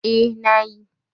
Eh, na yi